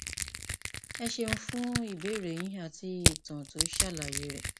ẹ ṣeun fún ìbéèrè yín àti ìtàn tó ṣàlàyé rẹ